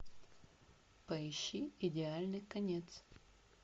поищи идеальный конец